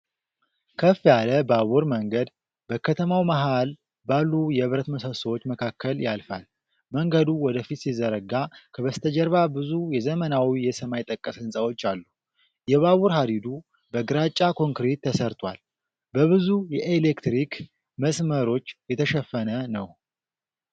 ከፍ ያለ ባቡር መንገድ በከተማው መሃል ባሉ የብረት ምሰሶዎች መካከል ያልፋል። መንገዱ ወደፊት ሲዘረጋ፣ ከበስተጀርባ ብዙ የዘመናዊ የሰማይ ጠቀስ ሕንፃዎች አሉ። የባቡር ሐዲዱ በግራጫ ኮንክሪት ተሰርቷል፣ በብዙ የኤሌክትሪክ መስመሮች የተሸፈነ ነው።